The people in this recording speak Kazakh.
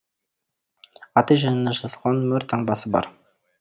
аты жөні жазылған мөр таңбасы бар